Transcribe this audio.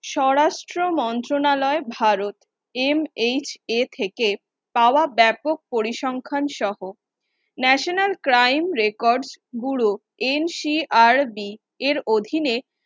স্বরাষ্ট্র মন্ত্রনালয় ভারত MHA থেকে পাওয়া ব্যাপক পরিসংখ্যান সহ National crime record bureau NCRB এর অধীনে